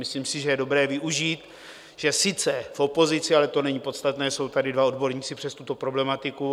Myslím si, že je dobré využít, že sice v opozici, ale to není podstatné, jsou tady dva odborníci přes tuto problematiku.